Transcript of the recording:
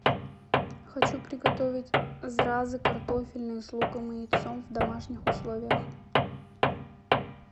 хочу приготовить зразы картофельные с луком и яйцом в домашних условиях